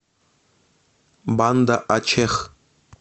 банда ачех